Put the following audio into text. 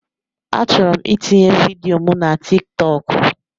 Achọrọ m itinye vidịo mụ na Tịk Tọkụ